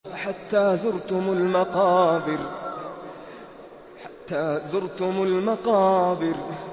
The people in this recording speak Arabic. حَتَّىٰ زُرْتُمُ الْمَقَابِرَ